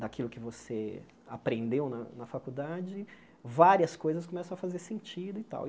daquilo que você aprendeu na na faculdade, várias coisas começam a fazer sentido e tal.